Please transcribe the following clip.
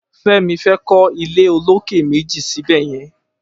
Femi fè kọ ilé ólóké méji sibẹyẹ̀n